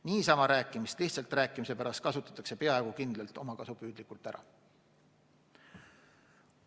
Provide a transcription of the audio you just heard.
Niisama rääkimist lihtsalt rääkimise pärast kasutatakse peaaegu kindlalt omakasupüüdlikult ära.